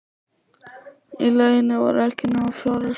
Í lauginni voru ekki nema fjórar hræður.